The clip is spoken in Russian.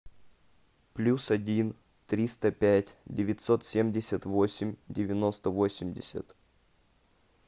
плюс один триста пять девятьсот семьдесят восемь девяносто восемьдесят